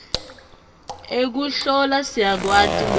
ekuhlola siyakwati loku